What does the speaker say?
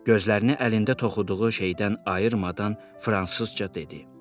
Gözlərini əlində toxuduğu şeydən ayırmadan fransızca dedi.